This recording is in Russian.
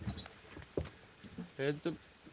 это